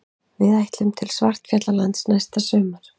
Við ætlum til Svartfjallalands næsta sumar.